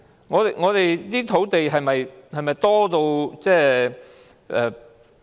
我們的土地是否太多？